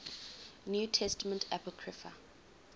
new testament apocrypha